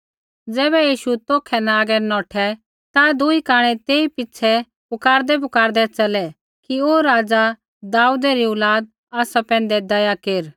ज़ैबै यीशु तौखै न आगै नौठै ता दूई कांणै तेई पिछ़ै पुकारदैपुकारदै च़लै कि ओ राज़ा दाऊदै री औलाद आसा पैंधै दया केर